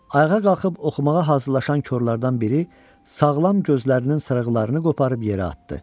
Ayağa qalxıb oxumağa hazırlaşan korlardan biri sağlam gözlərinin sarıqlarını qoparıb yerə atdı.